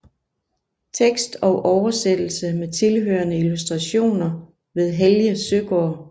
Tekst og oversættelse med tilhørende illustrationer ved Helge Søgaard